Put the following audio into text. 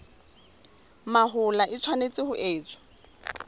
mahola e tshwanetse ho etswa